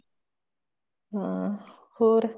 ਹਾਂ ਹੋਰ